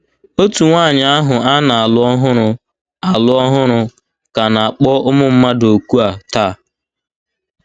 Òtù nwaanyị ahụ a na - alụ ọhụrụ - alụ ọhụrụ ka na - akpọ ụmụ mmadụ òkù a taa.